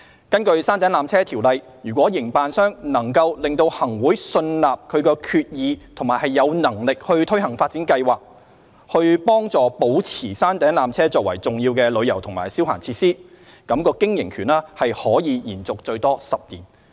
根據《條例》，如營辦商能令行會信納其決意並有能力推行發展計劃，以助保持山頂纜車作為重要的旅遊及消閒設施，則經營權可延續最多10年。